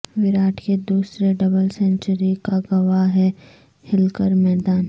وراٹ کے دوسرے double century کا گواہ ہے ہلکر میدان